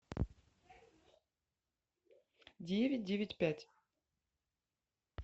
девять девять пять